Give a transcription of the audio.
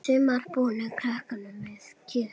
Sumir búa kröpp við kjör.